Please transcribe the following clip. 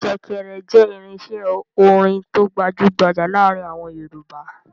Ṣẹ̀kẹ̀rẹ̀ jẹ́ irinṣẹ́ orin tó gbajú-gbajà láàárin àwọn Yorùbá.